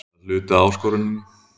Það er hluti af áskoruninni.